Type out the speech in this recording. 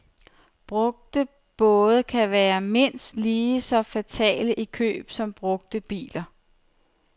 Brugte både kan være mindst lige så fatale i køb som brugte biler.